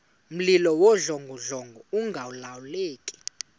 mlilo wawudlongodlongo ungalawuleki